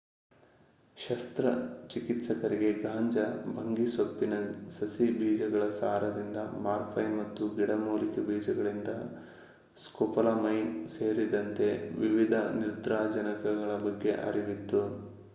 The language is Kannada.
ಶಸ್ತ್ರಚಿಕಿತ್ಸಕರಿಗೆ ಗಾಂಜಾ/ಭಂಗಿಸೊಪ್ಪಿನ ಸಸಿಗಳ ಬೀಜಗಳ ಸಾರದಿಂದ ಮಾರ್ಫೈನ್ ಮತ್ತು ಗಿಡಮೂಲಿಕೆ ಬೀಜಗಳಿಂದ ಸ್ಕೋಪೋಲಮೈನ್ ಸೇರಿದಂತೆ ವಿವಿಧ ನಿದ್ರಾಜನಕಗಳ ಬಗ್ಗೆ ಅರಿವಿತ್ತು